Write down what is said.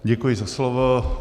Děkuji za slovo.